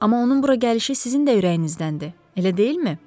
Amma onun bura gəlişi sizin də ürəyinizdəndir, elə deyilmi?